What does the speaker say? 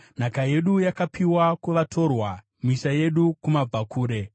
Nhaka yedu yakapiwa kuvatorwa, misha yedu kumabvakure.